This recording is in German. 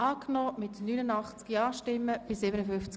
Planungserklärung Amstutz, Schwanden-Sigriswil [SVP] – Nr. 1